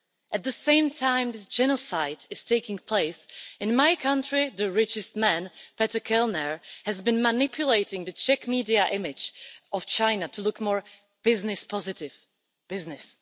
At the same time as this genocide is taking place, in my country the richest man, Petr Kellner, has been manipulating the Czech media image of China to look more business positive business!